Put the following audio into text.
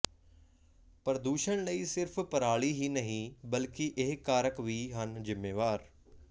ਪ੍ਰਦੂਸ਼ਣ ਲਈ ਸਿਰਫ ਪਰਾਲੀ ਹੀ ਨਹੀਂ ਬਲਕਿ ਇਹ ਕਾਰਕ ਵੀ ਹਨ ਜ਼ਿੰਮੇਵਾਰ